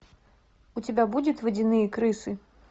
у тебя будет водяные крысы